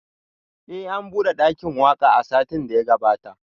Eh an bude dakin waka a satin da ya gabata